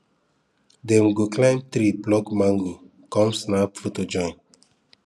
dem go climb tree pluck mango come snap photo join